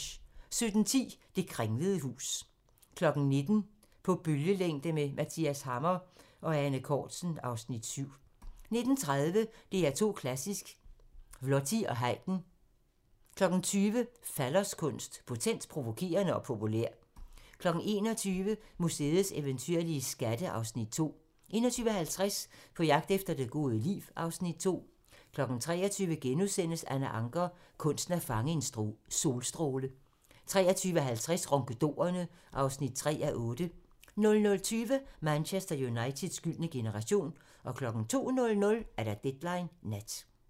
17:10: Det kringlede hus 19:00: På bølgelængde med Mathias Hammer & Ane Cortzen (Afs. 7) 19:30: DR2 Klassisk: Viotti & Haydn 20:00: Falloskunst: Potent, provokerende og populær 21:00: Museets eventyrlige skatte (Afs. 2) 21:50: På jagt efter det gode liv (Afs. 2) 23:00: Anna Ancher - kunsten at fange en solstråle * 23:50: Ronkedorerne (3:8) 00:20: Manchester Uniteds gyldne generation 02:00: Deadline Nat